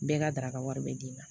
Bɛɛ ka daraka wari bɛ d'i ma